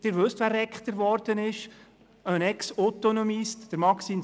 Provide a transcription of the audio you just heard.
Sie wissen, wer dort Rektor geworden ist, «un exautonomiste», nämlich Maxime Zuber.